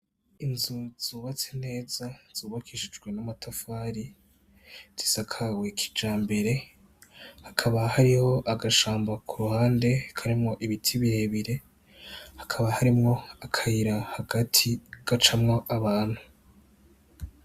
Inzu zubatse neza zubakishijwe n'amatafari zisakawe kijambere hakaba hariho agashamba ku ruhande karimwo ibiti birebire hakaba harimwo akayira hagati gacamwo abantu.